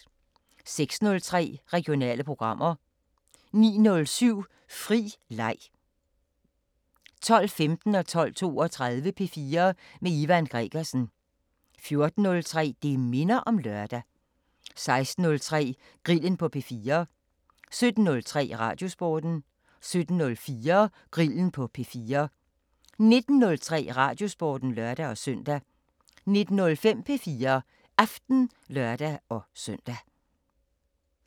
06:03: Regionale programmer 09:07: Fri leg 12:15: P4 med Ivan Gregersen 12:32: P4 med Ivan Gregersen 14:03: Det minder om lørdag 16:03: Grillen på P4 17:03: Radiosporten 17:04: Grillen på P4 19:03: Radiosporten (lør-søn) 19:05: P4 Aften (lør-søn)